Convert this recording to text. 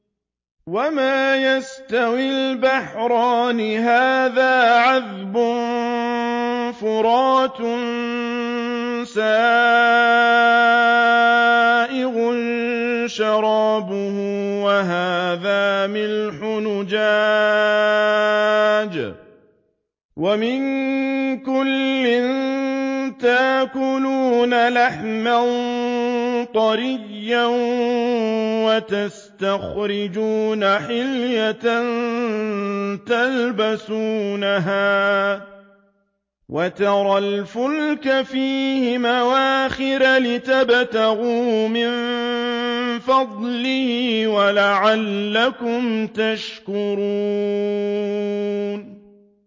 وَمَا يَسْتَوِي الْبَحْرَانِ هَٰذَا عَذْبٌ فُرَاتٌ سَائِغٌ شَرَابُهُ وَهَٰذَا مِلْحٌ أُجَاجٌ ۖ وَمِن كُلٍّ تَأْكُلُونَ لَحْمًا طَرِيًّا وَتَسْتَخْرِجُونَ حِلْيَةً تَلْبَسُونَهَا ۖ وَتَرَى الْفُلْكَ فِيهِ مَوَاخِرَ لِتَبْتَغُوا مِن فَضْلِهِ وَلَعَلَّكُمْ تَشْكُرُونَ